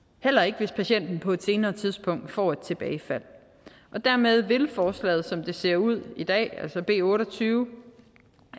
heller ikke hvis patienten på et senere tidspunkt får tilbagefald og dermed vil forslaget som det ser ud i dag altså b otte og tyve